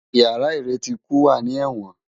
Iyàrá iréti ikú wá ni èwòn